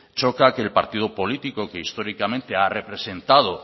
choca que el partido político que históricamente ha representado